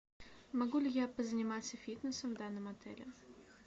могу ли я позаниматься фитнесом в данном отеле